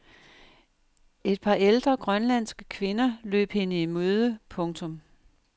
Et par ældre grønlandske kvinder løb hende i møde. punktum